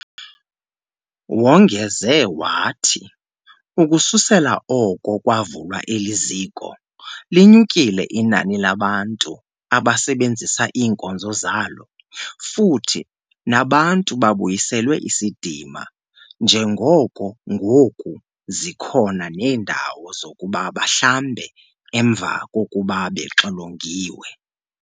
Wongeze wathi, ukususela oko kwavulwa eli ziko, linyukile inani labantu abasebenzisa iinkonzo zalo futhi nabantu babuyiselwe isidima njengoko ngoku zikhona neendawo zokuba bahlambe emva kokuba bexilongiwe.